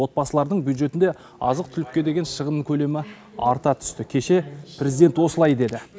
отбасылардың бюджетінде азық түлікке деген шығын көлемі арта түсті кеше президент осылай деді